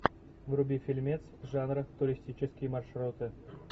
вруби фильмец жанра туристические маршруты